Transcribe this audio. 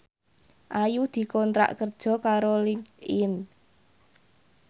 Ayu dikontrak kerja karo Linkedin